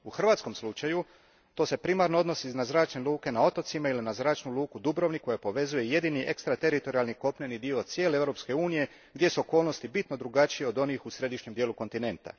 U hrvatskom slučaju to se primarno odnosi na zračne luke na otocima ili na Zračnu luku Dubrovnik koja povezuje jedini ekstrateritorijalni kopneni dio cijele Europske unije gdje su okolnosti bitno drugačije od onih u središnjem dijelu kontinenta.